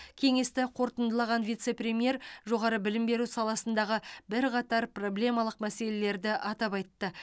кеңесті қорытындылаған вице премьер жоғары білім беру саласындағы бірқатар проблемалық мәселелерді атап айтты